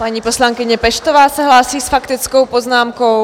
Paní poslankyně Peštová se hlásí s faktickou poznámkou.